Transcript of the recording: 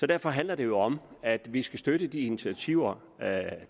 derfor handler det jo om at vi skal støtte de initiativer